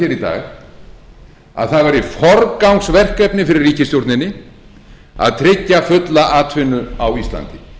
dag að það væri forgangsverkefni í ríkisstjórninni að tryggja fulla atvinnu á íslandi